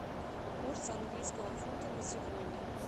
курс английского фунта на сегодня